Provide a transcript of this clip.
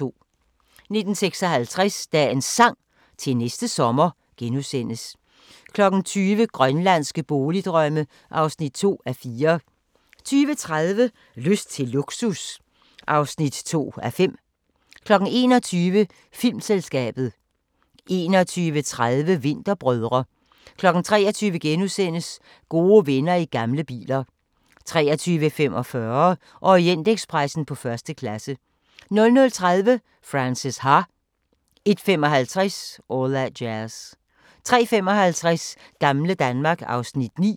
19:56: Dagens Sang: Til næste sommer * 20:00: Grønlandske boligdrømme (2:4) 20:30: Lyst til luksus (2:5) 21:00: Filmselskabet 21:30: Vinterbrødre 23:00: Gode venner i gamle biler * 23:45: Orientekspressen på første klasse 00:30: Frances Ha 01:55: All That Jazz 03:55: Gamle Danmark (Afs. 9)